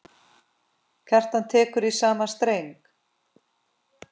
Kjartan tekur í sama streng.